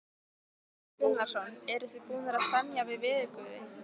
Hafþór Gunnarsson: Eruð þið búnir að semja við veðurguði?